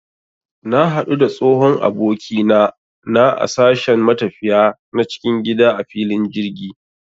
Na hadu da tsohon abokina na a sashen matafiya na cikin gida a filin jirgi